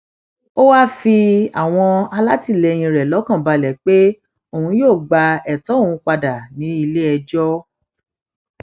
ó wáá fi àwọn alátìlẹyìn rẹ lọkàn balẹ pé òun yóò gba ètò òun padà níléẹjọ